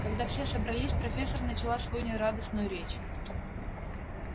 когда все собрались профессор начала свою нерадостную речь